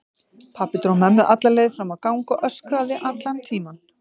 Pabbi dró mömmu alla leið fram á gang og öskraði allan tímann.